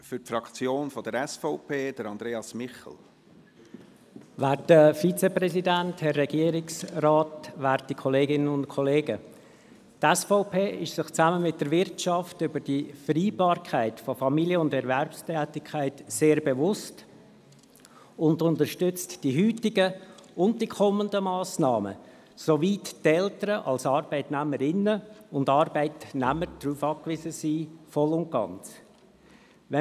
Die SVP ist sich, zusammen mit der Wirtschaft, über die Wichtigkeit der Vereinbarkeit von Familie und Erwerbstätigkeit sehr bewusst und unterstützt die heutigen und die kommenden Massnahmen, soweit die Eltern als Arbeitnehmerinnen und Arbeitnehmer darauf voll und ganz angewiesen sind.